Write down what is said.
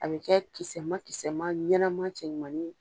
A bɛ kɛ kisɛ ma kisɛ ma ɲanama cɛ ɲumani ye.